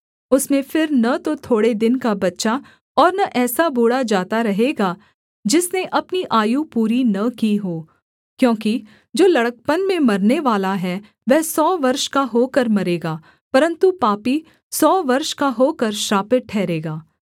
उसमें फिर न तो थोड़े दिन का बच्चा और न ऐसा बूढ़ा जाता रहेगा जिसने अपनी आयु पूरी न की हो क्योंकि जो लड़कपन में मरनेवाला है वह सौ वर्ष का होकर मरेगा परन्तु पापी सौ वर्ष का होकर श्रापित ठहरेगा